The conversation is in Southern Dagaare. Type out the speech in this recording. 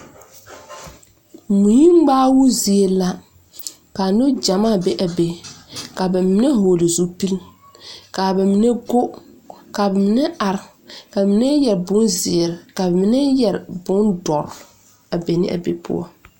Mui ŋmaao zie la ka neŋgyamaa be a be ka ba mine vɔgle zupili ka ba mine go ka ba mine are ka mine yɛre bonzeere ka ba mine yɛre bondɔre a be ne a be poɔ.